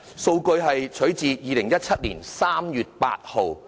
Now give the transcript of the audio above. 圖表的數據取於2017年3月8日。